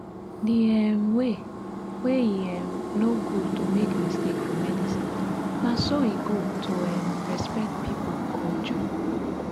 the um way wey e um no good to make mistake for medicinena so e good to um respect pipo culture.